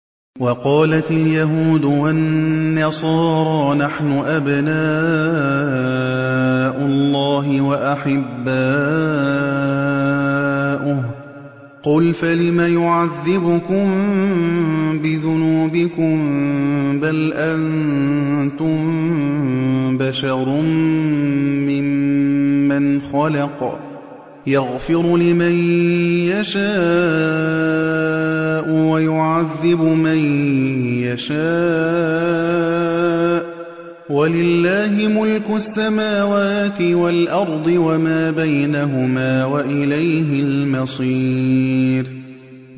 وَقَالَتِ الْيَهُودُ وَالنَّصَارَىٰ نَحْنُ أَبْنَاءُ اللَّهِ وَأَحِبَّاؤُهُ ۚ قُلْ فَلِمَ يُعَذِّبُكُم بِذُنُوبِكُم ۖ بَلْ أَنتُم بَشَرٌ مِّمَّنْ خَلَقَ ۚ يَغْفِرُ لِمَن يَشَاءُ وَيُعَذِّبُ مَن يَشَاءُ ۚ وَلِلَّهِ مُلْكُ السَّمَاوَاتِ وَالْأَرْضِ وَمَا بَيْنَهُمَا ۖ وَإِلَيْهِ الْمَصِيرُ